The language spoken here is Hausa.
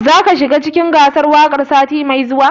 Za ka shiga cikin gasar waƙar sati mai zuwa?